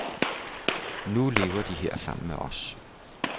Nu lever de her sammen med os.